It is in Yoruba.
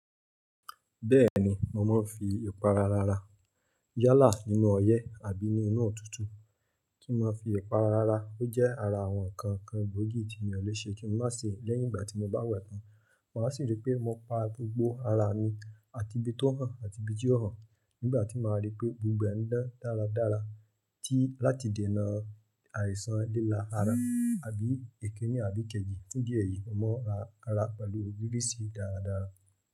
Bẹ́ẹ̀ni, mo máa ń fi ìpara rara yálà nínú ọ̀yẹ́ àbí ní inú òtútù. Kí n máa fi ìpara rara, ó jẹ́ ara àwọn ǹkan kan gbòógì tí mi ò lè ṣe kí n má ṣe lẹ́yìn ìgbà tí mo bá wẹ̀ tán. Máa sì rí pé mo pa gbogbo ara mi àti ibi tó hàn àti ibi tí ò hàn. Nígbà tí màá rí pé gbogbo ẹ̀ ń dán dáradára tí láti dènà àìsàn lílà ara àbí èkínní àbí kejì. Fún idi èyìí, mo mọ ara pẹ̀lú girisí dáradára.